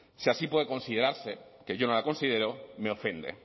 si así puede considerarse que yo no la considero me ofende